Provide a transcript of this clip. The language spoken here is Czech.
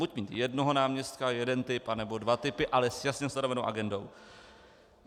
Buď mít jednoho náměstka, jeden typ, anebo dva typy, ale s jasně stanovenou agendou.